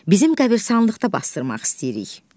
Bizim qəbristanlıqda basdırmaq istəyirik.